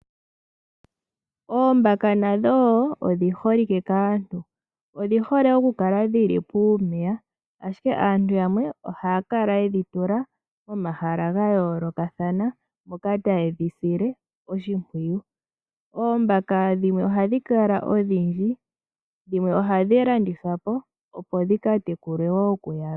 Oombaka nadho wo odhi holike kaantu, odhi hole oku kala dhi li puumeya, ashike aantu yamwe ohaya kala ye dhi tula momahala ga yoolokathana mpoka taye dhi sile oshimpwiyu. Oombaka dhimwe ohadhi kala odhindji, dhimwe ohadhi landithwa po opo dhi ka tekulwe wo ku yalwe.